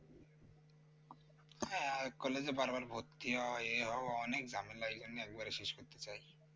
হ্যাঁ আর college এ বারবার ভর্তি হওয়া এই হওয়া অনেক ঝামেলা এইজন্যে একবারে শেষ করতে চাইছি